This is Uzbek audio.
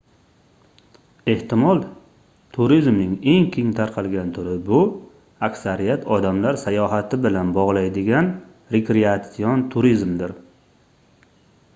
ehtimol turizmning eng keng tarqalgan turi bu aksariyat odamlar sayohat bilan bogʻlaydigan rekreatsion turizmdir